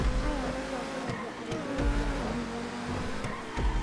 Aya matongoragia arũmĩrĩri a kanitha na nyĩmbo